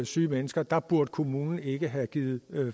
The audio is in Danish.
syge mennesker der burde kommunen ikke have givet